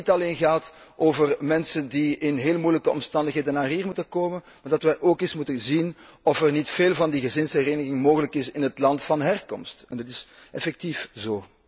Het gaat niet alleen over mensen die in heel moeilijke omstandigheden naar hier moeten komen, maar wij moeten ook eens zien of er niet veel van die gezinshereniging mogelijk is in het land van herkomst, en dat is effectief zo.